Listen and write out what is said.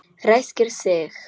Ræskir sig.